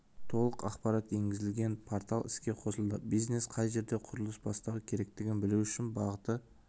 толық ақпарат енгізілген портал іске қосылды бизнес қай жерде құрылыс бастауы керектігін білу үшін бағыты